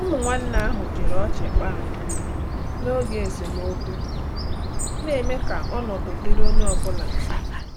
Ụmụ nwanne ahụ jiri ọchị kpaa nkọ n’oge esemokwu, na-eme ka ọnọdụ dịrị onye ọ bụla mfe.